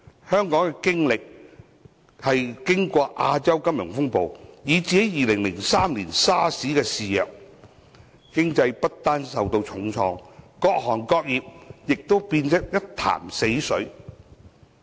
香港經歷過亞洲金融風暴，以及2003年的 SARS 肆虐，經濟不單受到重創，各行各業也變得一潭死水。